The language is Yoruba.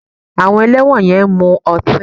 Àwọn ẹlẹ́wọ̀n yẹn ń mu ọtí